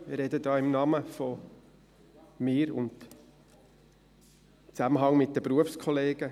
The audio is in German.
Ich spreche hier in meinem Namen und im Zusammenhang mit meinen Berufskollegen.